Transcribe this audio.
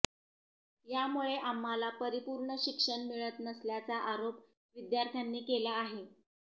यामुळे आम्हाला परिपूर्ण शिक्षण मिळत नसल्याचा आरोप विद्यार्थ्यांनी केला आहे